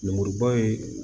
Lemuruba ye